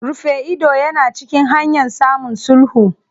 Rufe ido yana cikin hanyan samun sulhu.